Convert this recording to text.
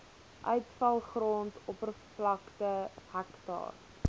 uitvalgrond oppervlakte hektaar